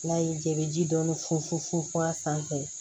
N'a y'i diya i bɛ ji dɔɔni fun fun fun a sanfɛ